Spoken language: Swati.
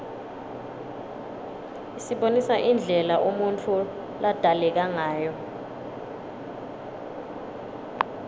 isibonisa indlela umuntfu ladalekangayo